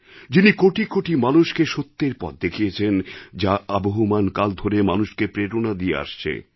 যিনি কোটি কোটি মানুষকে সত্যের পথ দেখিয়েছেন যা আবহমান কাল ধরে মানুষকে প্রেরণা দিয়ে আসছে